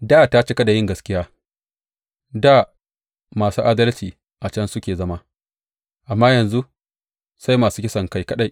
Dā ta cika da yin gaskiya; dā masu adalci a can suke zama, amma yanzu sai masu kisankai kaɗai!